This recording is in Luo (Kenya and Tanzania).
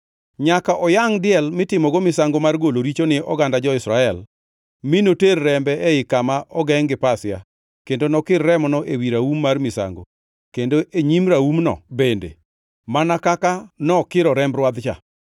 “Nyaka oyangʼ diel mitimogo misango mar golo richo ni oganda jo-Israel, mi noter rembe ei kama ogengʼ gi pasia, kendo nokir remono ewi raum mar misango, kendo e nyim raumno bende, mana kaka nokiro remb rwadh-cha.